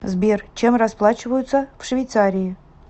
сбер чем расплачиваются в швейцарии